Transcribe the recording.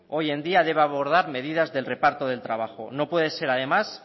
hoy en día debe abordar medidas del reparto de trabajo no puede ser además